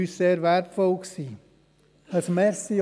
Das war sehr wertvoll für uns.